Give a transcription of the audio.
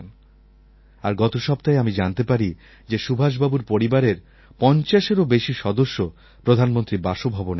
আর গত সপ্তাহে আমি জানতে পারি যে সুভাষবাবুর পরিবারের পঞ্চাশেরও বেশি সদস্য প্রধানমন্ত্রীর বাসভবনে আসবেন